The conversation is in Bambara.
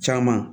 Caman